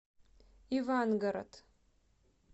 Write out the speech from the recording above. ивангород